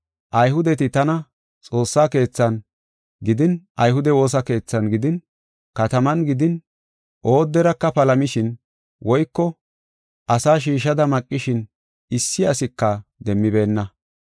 Ayhudeti tana Xoossaa Keethan gidin ayhude woosa keethan gidin kataman gidin ooderaka palamishin woyko asa shiishada maqishin issi asika demmibeenna.